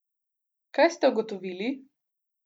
Kaj ste ugotovili?